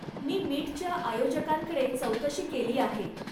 मी मीटच्या आयोजकांकडे चौकशी केली आहे.